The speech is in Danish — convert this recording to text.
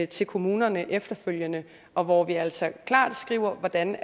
til kommunerne efterfølgende og hvor vi altså klart skriver hvordan